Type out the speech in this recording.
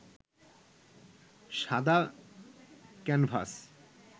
সাদা ক্যানভাস